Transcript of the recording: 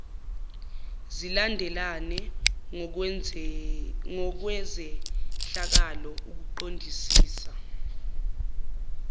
zilandelane ngokwezehlakalo ukuqondisisa